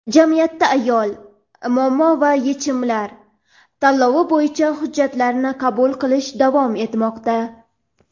"Jamiyatda ayol: muammo va yechimlar" tanlovi bo‘yicha hujjatlarni qabul qilish davom etmoqda.